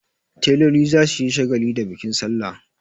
Teloli za su yi shagali da bikin salla.